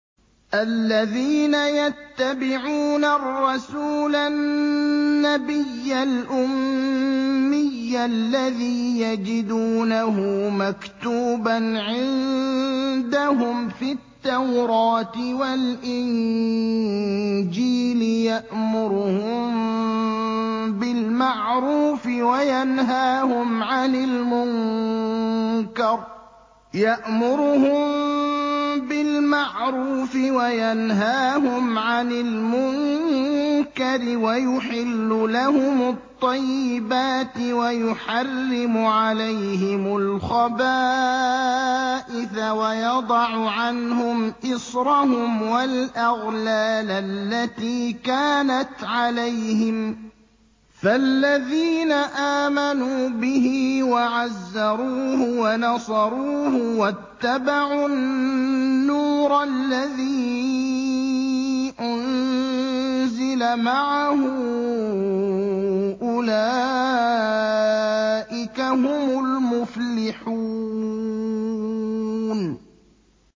الَّذِينَ يَتَّبِعُونَ الرَّسُولَ النَّبِيَّ الْأُمِّيَّ الَّذِي يَجِدُونَهُ مَكْتُوبًا عِندَهُمْ فِي التَّوْرَاةِ وَالْإِنجِيلِ يَأْمُرُهُم بِالْمَعْرُوفِ وَيَنْهَاهُمْ عَنِ الْمُنكَرِ وَيُحِلُّ لَهُمُ الطَّيِّبَاتِ وَيُحَرِّمُ عَلَيْهِمُ الْخَبَائِثَ وَيَضَعُ عَنْهُمْ إِصْرَهُمْ وَالْأَغْلَالَ الَّتِي كَانَتْ عَلَيْهِمْ ۚ فَالَّذِينَ آمَنُوا بِهِ وَعَزَّرُوهُ وَنَصَرُوهُ وَاتَّبَعُوا النُّورَ الَّذِي أُنزِلَ مَعَهُ ۙ أُولَٰئِكَ هُمُ الْمُفْلِحُونَ